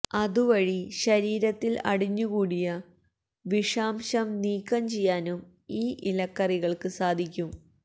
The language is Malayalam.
അതുവഴി ശരീരത്തില് അടിഞ്ഞുകൂടിയ വിഷാംശം നീക്കം ചെയ്യാനും ഈ ഇലക്കറികള്ക്ക് സാധിക്കും